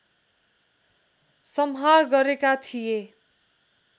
संहार गरेका थिए